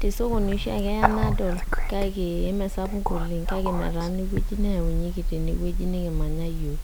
te esokoni oshiake eya nadol kake mee sapuk oleng', kake metaana ewueji neyaunyeki tene wueji nekimanya iyiok.